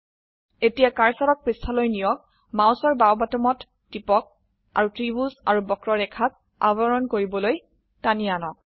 এতিয়া কাৰ্সাৰক পৃষ্ঠালৈ নিয়ক মাউসৰ বাও বোতামত টিপক আৰু ত্ৰিভুজ আৰু বক্ৰৰেখাক আবৰণ কৰিবলৈ টানি আনক